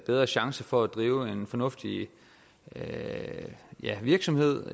bedre chance for at drive en fornuftig virksomhed